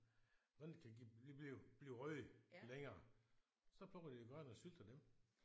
Sådan kan blive blive røde længere så plukker de de grønne og sylter dem